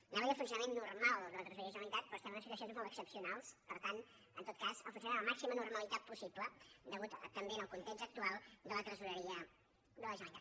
anava a dir el funcionament normal de la tresoreria de la generalitat però estem en unes situacions molt excepcionals i per tant en tot cas el funcionament amb la màxima normalitat possible també en el context actual de la tresoreria de la generalitat